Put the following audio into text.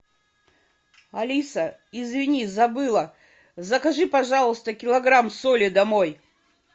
алиса извини забыла закажи пожалуйста килограмм соли домой